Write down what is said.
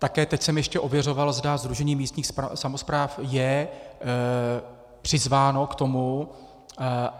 Také teď jsem ještě ověřoval, zda Sdružení místních samospráv je přizváno k tomu.